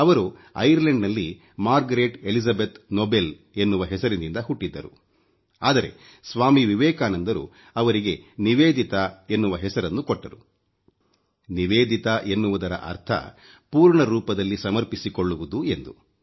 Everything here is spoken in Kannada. ಅವರು ಐರ್ಲೆಂಡ್ ನಲ್ಲಿ ಮಾರ್ಗರೆಟ್ ಎಲಿಜಬೆತ್ ನೊಬೆಲ್ ಎನ್ನುವ ಹೆಸರಿನಿಂದ ಹುಟ್ಟಿದ್ದರು ಆದರೆ ಸ್ವಾಮಿ ವಿವೆಕಾನಂದರು ಅವರಿಗೆ ನಿವೇದಿತಾ ಎನ್ನುವ ಹೆಸರನ್ನು ಕೊಟ್ಟರು ನಿವೇದಿತಾ ಎನ್ನುವುದರ ಅರ್ಥ ಪೂರ್ಣ ರೂಪದಲ್ಲಿ ಸಮರ್ಪಿಸಿಕೊಳ್ಳುವುದು ಎಂದು